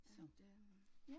Ja, det